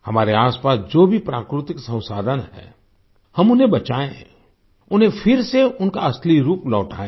हमारे आसपास जो भी प्राकृतिक संसाधन है हम उन्हें बचाएं उन्हें फिर से उनका असली रूप लौटाएँ